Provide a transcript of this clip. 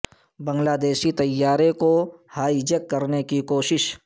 بنگلہ دیشی طیارے کو ہائی جیک کرنے کی کوشش